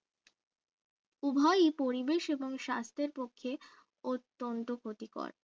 উভয়ই পরিবেশ এবং স্বাস্থ্যের পক্ষে অত্যন্ত ক্ষতিকর